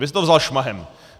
Vy jste to vzal šmahem.